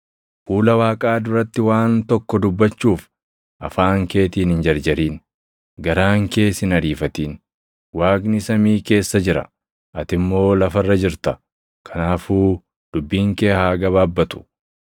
Fuula Waaqaa duratti waan tokko dubbachuuf afaan keetiin hin jarjarin; garaan kees hin ariifatin. Waaqni samii keessa jira; ati immoo lafa irra jirta; kanaafuu dubbiin kee haa gabaabbatu.